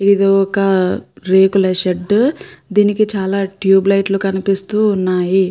ఇది ఒక రేకుల షెడ్ . దీనికి చాలా ట్యూబ్ లైట్లు కనిపిస్తూ ఉన్నాయి.